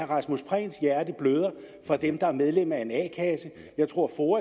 rasmus prehns hjerte bløder for dem der er medlem af en a kasse jeg tror to